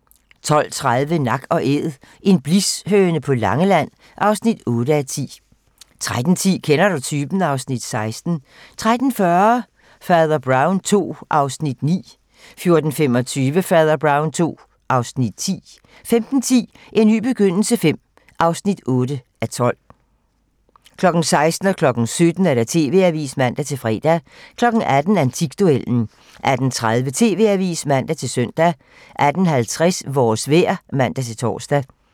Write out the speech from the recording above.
12:30: Nak & Æd - en blishøne på Langeland (8:10) 13:10: Kender du typen? (Afs. 16) 13:40: Fader Brown II (Afs. 9) 14:25: Fader Brown II (Afs. 10) 15:10: En ny begyndelse V (8:12) 16:00: TV-Avisen (man-fre) 17:00: TV-Avisen (man-fre) 18:00: Antikduellen 18:30: TV-Avisen (man-søn) 18:50: Vores vejr (man-tor)